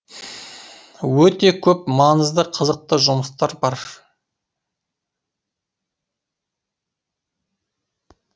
өте көп маңызды қызықты жұмыстар бар